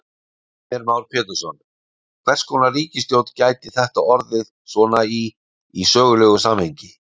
Heimir Már Pétursson: Hvers konar ríkisstjórn gæti þetta orðið svona í, í sögulegu samhengi?